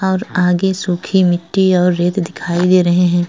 और आगे सूखी मिट्टी और रेत दिखाई दे रहे हैं।